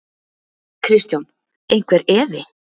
Kristján: Einhver efi?